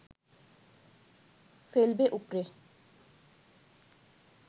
ফেলবে উপড়ে